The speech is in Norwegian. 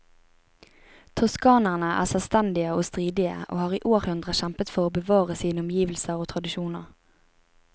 Toskanerne er selvstendige og stridige, og har i århundrer kjempet for å bevare sine omgivelser og tradisjoner.